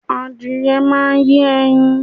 Adìyẹ náà máa yé ẹyin.